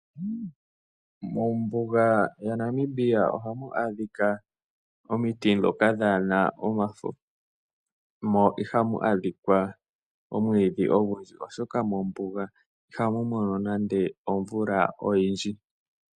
Mombuga yaNamibia ohamu adhika omiti ndhoka kaa dhi na omafo, mo ihamu adhika omwiidhi ogundji, oshoka mombuga ihamu lokwa omvula oyindji.